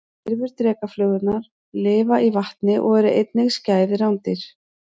Lirfur drekaflugurnar lifa í vatni og eru einnig skæð rándýr.